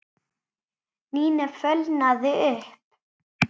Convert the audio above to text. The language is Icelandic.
Nína fölnaði upp.